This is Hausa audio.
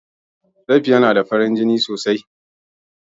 Safiya na da farin jini sosai.